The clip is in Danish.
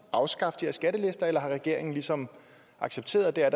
afskaffe de er skattelister eller har regeringen ligesom accepteret at der er